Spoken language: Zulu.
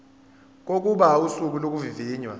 kokuba usuku lokuvivinywa